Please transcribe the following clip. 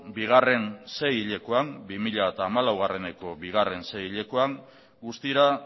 bigarren seihilekoan guztira